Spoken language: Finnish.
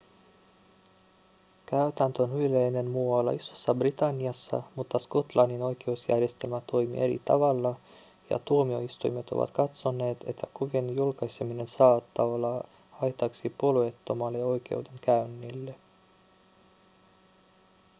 käytäntö on yleinen muualla isossa-britanniassa mutta skotlannin oikeusjärjestelmä toimii eri tavalla ja tuomioistuimet ovat katsoneet että kuvien julkaiseminen saattaa olla haitaksi puolueettomalle oikeudenkäynnille